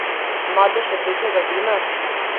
Madež rdečega vina?